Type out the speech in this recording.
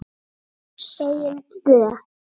Segjum tvö.